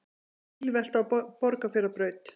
Bílvelta á Borgarfjarðarbraut